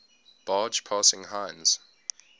barge passing heinz